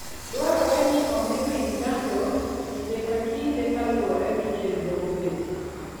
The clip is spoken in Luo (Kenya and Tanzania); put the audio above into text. Dwarore ni omi winy chanjo kinde ka kinde kaluwore gi chenro moketi.